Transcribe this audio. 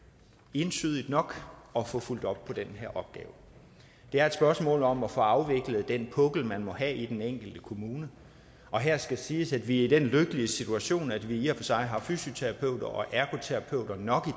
entydigt nok at få fulgt op på den her opgave det er et spørgsmål om at få afviklet den pukkel man må have i den enkelte kommune og her skal siges at vi er i den lykkelige situation at vi i og for sig har fysioterapeuter og ergoterapeuter nok